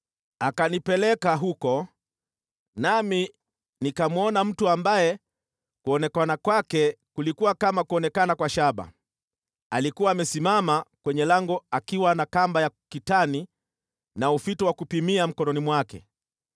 Akanipeleka huko, nami nikamwona mtu ambaye kuonekana kwake kulikuwa kama kuonekana kwa shaba. Alikuwa amesimama kwenye lango akiwa na kamba ya kitani na ufito wa kupimia mkononi mwake.